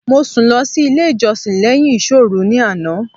Mo sùn lọ sí ilé ìjọsìn léyìn ìsọ́òru ní àná